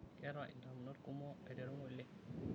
Keeta indamunot kumok aiteru ng'ole.